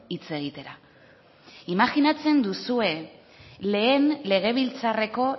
hitz egitera imajinatzen duzue lehen legebiltzarreko